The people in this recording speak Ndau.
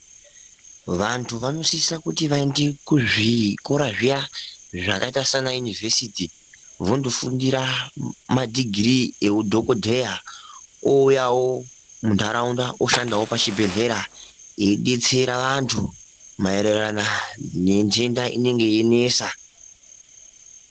Vantu vanosisa kuti vaende kuzvikora zviya zvakaita sean yunivhesiti vondofundira madhigirii eudhogodheya ouyawo muntaraunta usahandawo pachibhedhleya eidetsera vantu maererano nentenda inenge yeinesa.